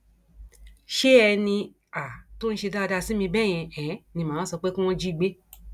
ṣé ẹni um tó ń ṣe dáadáa sí mi bẹẹ yẹn um ni mà á wáá sọ pé kí wọn jí gbé